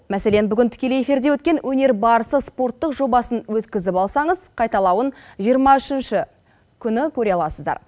мәселен бүгін тікелей эфирде өткен өнер барысы спорттық жобасын өткізіп алсаңыз қайталауын жиырма үшінші күні көре аласыздар